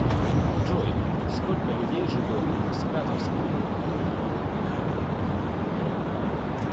джой сколько людей живет в скадовск